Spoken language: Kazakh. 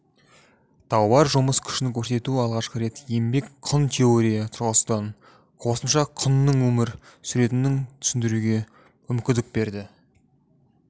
тауар жұмыс күшін көрсету алғашқы рет еңбек құн теория тұрғысынан қосымша құнның өмір суретінің түсіндіруге мүмкіндік берді